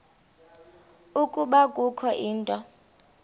ukuba kukho into